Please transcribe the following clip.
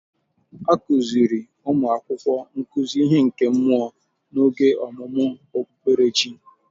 A kuziri ụmụ akwụkwọ nkuzi ihe nke mmụọ n'oge ọmụmụ okpukperechi.